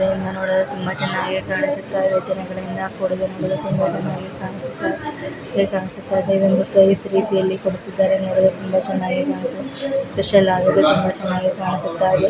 ನೋಡಲು ತುಂಬ ಚೆನ್ನಾಗಿ ಕಾನಿಸ್ತಾಇದೆ ಇದು ಮುದ್ದಾಡರೀತಿಯಲ್ಲಿ ಕಾಣಿಸುತ್ತ ಇದೆ.